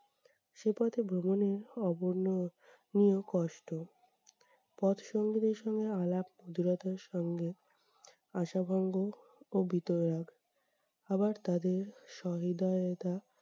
সে পথে ভ্রমণও অবর্ণনীয় কষ্ট। পথ আলাপ সঙ্গে, আশাভঙ্গ আবার তাদের সহৃদয়তা